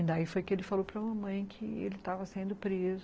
E daí foi que ele falou para mamãe que ele estava sendo preso.